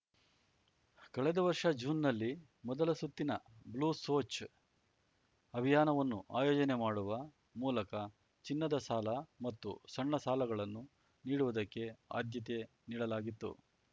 ಕಳೆದ ವರ್ಷ ಜೂನ್‌ನಲ್ಲಿ ಮೊದಲ ಸುತ್ತಿನ ಬ್ಲೂ ಸೋಚ್‌ ಅಭಿಯಾನವನ್ನು ಆಯೋಜನೆ ಮಾಡುವ ಮೂಲಕ ಚಿನ್ನದ ಸಾಲ ಮತ್ತು ಸಣ್ಣ ಸಾಲಗಳನ್ನು ನೀಡುವುದಕ್ಕೆ ಆದ್ಯತೆ ನೀಡಲಾಗಿತ್ತು